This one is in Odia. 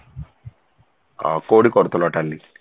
ଅ କଉଠି କରୁଥିଲ tally?